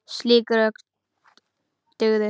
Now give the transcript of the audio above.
Slík rök dugðu.